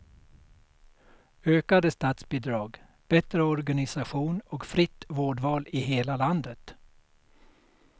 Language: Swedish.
Ökade statsbidrag, bättre organisation och fritt vårdval i hela landet.